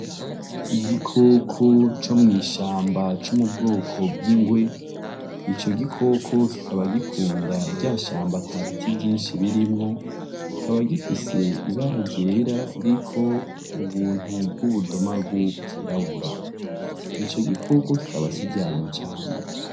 Igikoko co mw'ishamba co mu bwoko bw'ingwe, ico gikoko kikaba gikunda rya shamba ata biti vyinshi birimwo, kikaba gifise ibara ryera ririko ubuntu bw'ubudomagu bwirabura, ico gikoko kikaba kiryana cane.